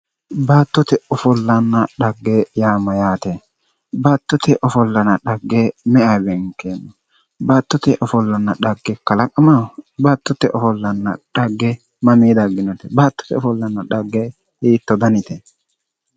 Baattote ofollanna dhagge yaa mayyaate baattote ofollanna dhagge me"ewa beenkanni baattote ofollanna dhagge kalaqamaho baattote ofolla dhagge mamii dagginote baattote offolla dhagge hiittoo danite